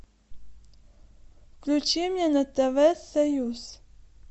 включи мне на тв союз